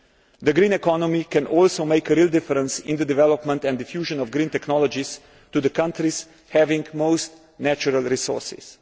The green economy can also make a real difference in the development and diffusion of green technologies to the countries having most natural resources.